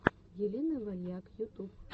елена вальяк ютуб